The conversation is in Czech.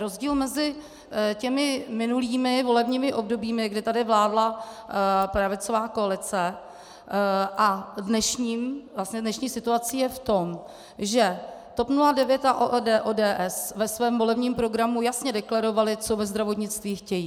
Rozdíl mezi těmi minulými volebními obdobími, kdy tady vládla pravicová koalice, a dnešní situací je v tom, že TOP 09 a ODS ve svém volebním programu jasně deklarovaly, co ve zdravotnictví chtějí.